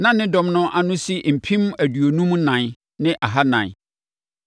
Na ne dɔm no ano si mpem aduonum ɛnan ne ahanan (54,400).